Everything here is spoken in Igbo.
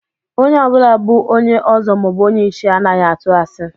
A red cap chief or a titled man doesn't lie